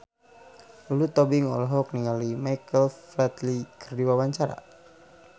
Lulu Tobing olohok ningali Michael Flatley keur diwawancara